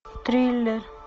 триллер